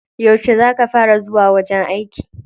Yauce za ka fara zuwa wajen aiki?